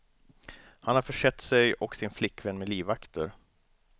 Han har försett sig och sin flickvän med livvakter.